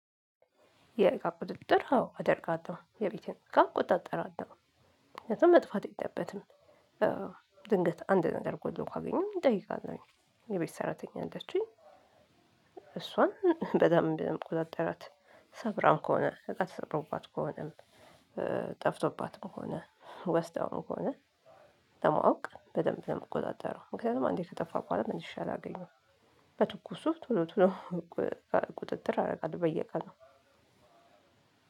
የእቃ ቁጥጥር አዎ አደርጋለሁ የቤቴን እቃ እቆጣጠራለው ምክንያቱም መጥፋት የለበትም። ድንገት አንድ ነገር ጎሎ ካገኘሁ እንጠይቃለን የቤት ሰራተኛ አለችኝ። በደንብ ነው ምቆጣጣራት። ሰብራ ከሆነ እቃ ተሰብሮባት ከሆነም ጠፍቶባት ከሆነ ወስዳው ከሆነ። ለማውቅ በደንብ ነው ምቆጣጠረው ምክንያቱም አንዴ ከጠፋ በኋላ ምልሼ አላገኘውም። በትኩሱ ቶሎ ቶሎ ቁጥጥር አደርጋለሁ በየቀኑ።